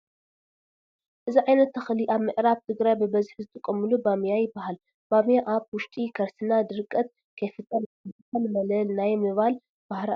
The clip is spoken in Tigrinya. እዚ ዓይነት ተኽሊ ኣብ ምዕራብ ትግራይ በበዝሒ ዝጥቀምሉ ባምያ ይበሃል። ባምያ ኣብ ውሽጢ ከርስና ድርከት ከይፍጠር ዝከላከል መለል ናይ ምባል ባህሪ ኣለዎ።